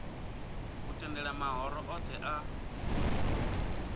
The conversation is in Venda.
u tendela mahoro othe a